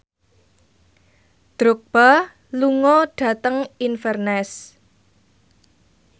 Drogba lunga dhateng Inverness